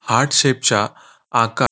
heart shape च्या आकार --